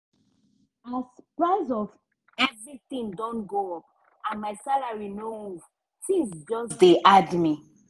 as price of everything don go up and my salary no move tins just dey hard me.